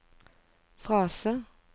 frase